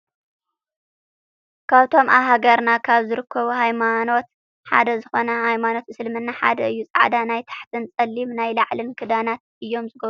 ካብቶም ኣብ ሃገርና ካብ ዝርከቡ ሃይማኖት ሓደ ዝኮነ ሃይማኖት እስልምና ሓደ እዩ። ፃዕዳ ናይ ታሕትን ፀሊም ናይ ላዕልን ክዳናት እዮም ዝገብሩ።